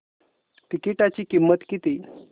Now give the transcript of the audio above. तिकीटाची किंमत किती